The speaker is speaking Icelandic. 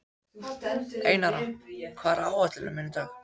Einara, hvað er á áætluninni minni í dag?